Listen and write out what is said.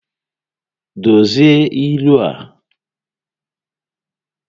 Dozie ilu a!